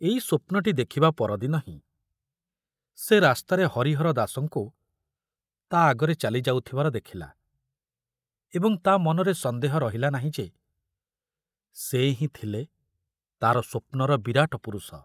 ଏଇ ସ୍ୱପ୍ନଟି ଦେଖୁବା ପରଦିନ ହିଁ ସେ ରାସ୍ତାରେ ହରିହର ଦାସଙ୍କୁ ତା ଆଗରେ ଚାଲି ଯାଉଥୁବାର ଦେଖୁଲା ଏବଂ ତା ମନରେ ସନ୍ଦେହ ରହିଲାନାହିଁ ଯେ ସେ ହିଁ ଥିଲେ ତାର ସ୍ବପ୍ନର ବିରାଟ ପୁରୁଷ।